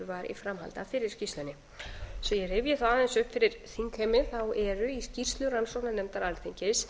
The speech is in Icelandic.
af fyrri skýrslunni svo ég rifji þá aðeins upp fyrir þingheimi eru í skýrslu rannsóknarnefndar alþingis